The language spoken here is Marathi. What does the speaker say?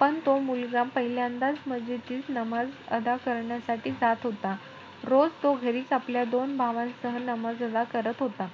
पण तो मुलगा पहिल्यांदाचं मस्जिदीत नमाज अदा करण्यासाठी जात होता. रोज तो घरीचं आपल्या दोन भावांसह नमाज अदा करत होता.